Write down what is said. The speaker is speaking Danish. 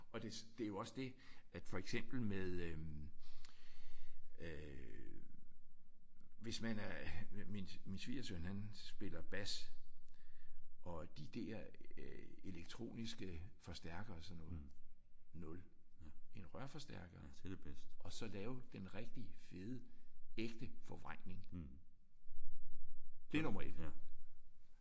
Og det det er jo også det at for eksempel med øh øh hvis man er min min svigersøn han spiller bas og de der elektroniske forstærkere og sådan noget? Nul. En rørforstærker og så lave den rigtige fede ægte forvrængning? Det er nummer 1